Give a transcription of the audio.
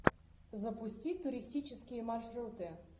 запусти туристические маршруты